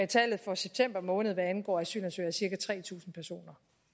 tallet for september måned hvad angår asylansøgere er cirka tre tusind personer